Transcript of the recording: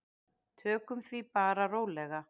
Tökum því bara rólega.